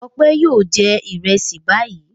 Ọpẹ́ yóò jẹ ìrẹsì báyìí.